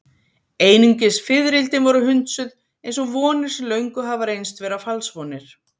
Einungis fiðrildin voru hundsuð, eins og vonir sem löngu hafa reynst vera falsvonir.